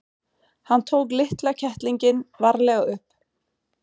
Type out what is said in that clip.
Hann tók litla kettlinginn varlega upp.